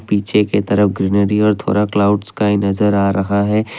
पीछे के तरफ ग्रीनरी और थोड़ा क्लाउड्स स्काई नजर आ रहा है।